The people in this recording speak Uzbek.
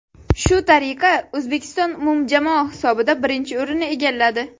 Shu tariqa O‘zbekiston umumjamoa hisobida birinchi o‘rinni egalladi.